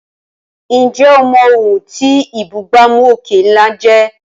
Ǹjẹ́ o mọ̀ ohun tí ìbúgbàmù òkè ńlá jẹ́?